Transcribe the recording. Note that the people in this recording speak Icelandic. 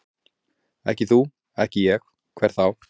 Ekki þú, ekki ég, hver þá?